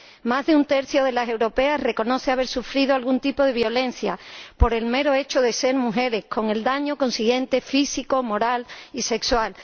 Más de un tercio de las europeas reconoce haber sufrido algún tipo de violencia por el mero hecho de ser mujeres, con el consiguiente daño físico, moral y sexual.